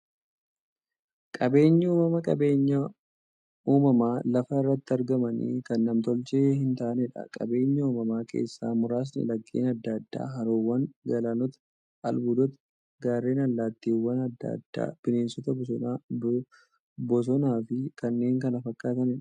Qaabeenyi uumamaa qabeenya uumamaan lafa irratti argamanii, kan nam-tolchee hintaaneedha. Qabeenya uumamaa keessaa muraasni; laggeen adda addaa, haroowwan, galaanota, albuudota, gaarreen, allattiiwwan adda addaa, bineensota bosonaa, bosonafi kanneen kana fakkataniidha.